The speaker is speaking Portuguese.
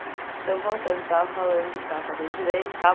Então voltando, você estava falando que estava fazendo direito, tal?